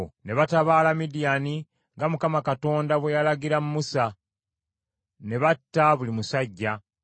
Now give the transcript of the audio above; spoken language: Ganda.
Ne batabaala Midiyaani nga Mukama Katonda bwe yalagira Musa, ne batta buli musajja.